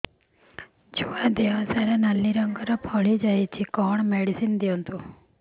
ଛୁଆ ଦେହ ସାରା ନାଲି ରଙ୍ଗର ଫଳି ଯାଇଛି କଣ ମେଡିସିନ ଦିଅନ୍ତୁ